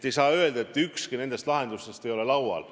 Ei saa öelda, et ükski nendest lahendustest ei ole laual.